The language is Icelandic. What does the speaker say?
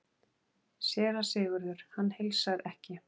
SÉRA SIGURÐUR: Hann heilsar ekki?